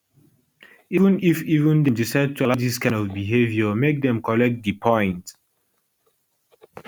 even if even if dem decide to allow dis kind of behaviour make dem collect di points